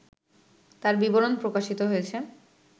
তার বিবরণ প্রকাশিত হয়েছে